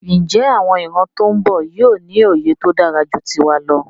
Njé àwon ìran tón bò yío ní òye tódáraju tiwa lọ?